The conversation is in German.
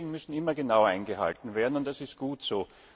Regeln müssen immer genau eingehalten werden und das ist gut so.